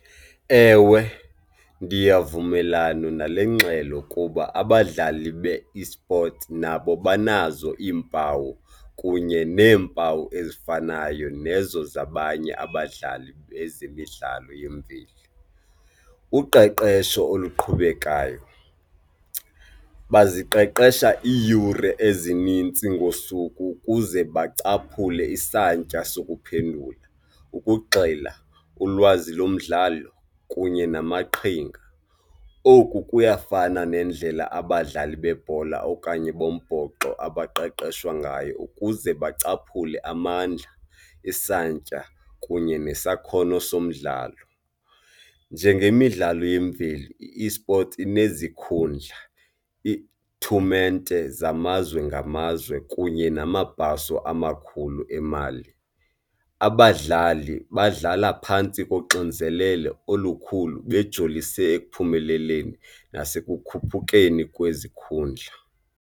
Ewe, ndiyavumelana nale ngxelo kuba abadlali be-esports nabo banazo iimpawu kunye neempawu ezifanayo nezo zabanye abadlali bezemidlalo yemveli. Uqeqesho oluqhubekayo, baziqeqesha iiyure ezinintsi ngosuku ukuze bacaphule isantya sokuphendula, ukugxila, ulwazi lomdlalo kunye namaqhinga. Oku kuyafana nendlela abadlali bebhola okanye bombhoxo abaqeqeshwa ngayo ukuze bacaphule amandla, isantya kunye nesakhono somdlalo. Njengemidlalo yemveli i-esports inezikhundla, iitumente zamazwe ngamazwe kunye namabhaso amakhulu emali. Abadlali badlala phantsi koxinzelelo olukhulu bejolise ekuphumeleleni nasekukhuphukeni kwezikhundla.